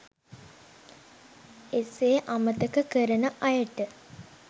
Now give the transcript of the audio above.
එසේ අමතක කරන අයට